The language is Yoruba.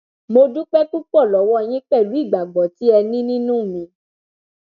mo dúpẹ púpọ lọwọ yín pẹlú ìgbàgbọ tí ẹ ní nínú mi